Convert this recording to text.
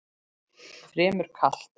Fremur kalt.